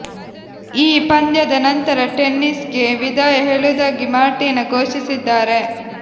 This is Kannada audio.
ಈ ಪಂದ್ಯದ ನಂತರ ಟೆನಿಸ್ ಗೆ ವಿದಾಯ ಹೇಳುವುದಾಗಿ ಮಾರ್ಟಿನಾ ಘೋಷಿಸಿದ್ದಾರೆ